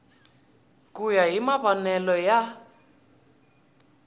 ku ya hi mavonele ya